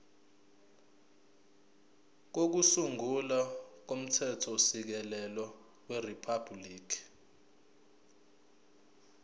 kokusungula komthethosisekelo weriphabhuliki